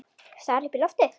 Stari upp í loftið.